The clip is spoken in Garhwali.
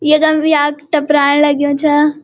यखम वी याक टपराण लग्युं छा।